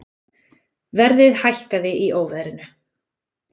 Verðið hækkaði í óveðrinu